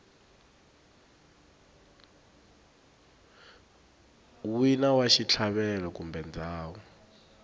wina wa xitlhavelo kumbe ndhawu